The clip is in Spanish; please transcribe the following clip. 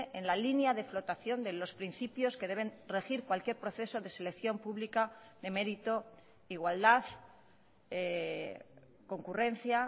en la línea de flotación de los principios que deben regir cualquier proceso de selección pública de mérito igualdad concurrencia